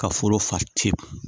Ka foro fa tewu